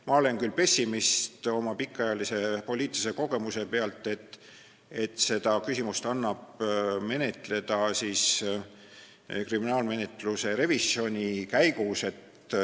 Ma olen küll oma pikaajalise poliitilise kogemuse põhjal pessimist selles asjas, kas seda küsimust annab menetleda kriminaalmenetluse revisjoni käigus.